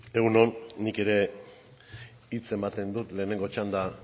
egun on nik ere hitz ematen dut lehenengo txanda